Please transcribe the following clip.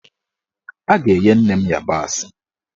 A ga-enye nne m ịyabasị